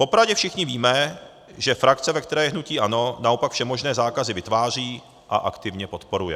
Popravdě, všichni víme, že frakce, ve které je hnutí ANO, naopak všemožné zákazy vytváří a aktivně podporuje.